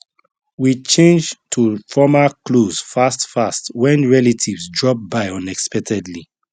we change to formal clothes fast fast when relatives drop by unexpectedly